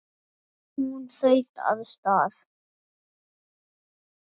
Hún þaut af stað.